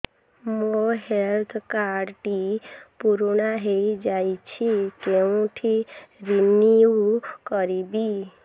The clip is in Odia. ମୋ ହେଲ୍ଥ କାର୍ଡ ଟି ପୁରୁଣା ହେଇଯାଇଛି କେଉଁଠି ରିନିଉ କରିବି